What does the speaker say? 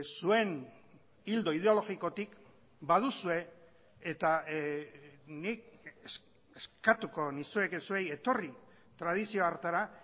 zuen ildo ideologikotik baduzue eta nik eskatuko nizueke zuei etorri tradizio hartara